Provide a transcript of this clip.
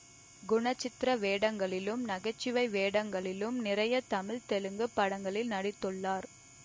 குணசித்திர வேடங்களிலும் நகைச்சுவை வேடங்களிலும் நிறைய தமிழ் தெலுங்கு படங்களில் நடித்துள்ளார்